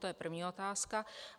To je první otázka.